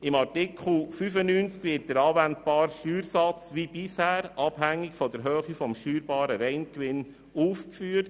Im Artikel 95 ist der anwendbare Steuersatz wie bisher abhängig vom steuerbaren Reingewinn.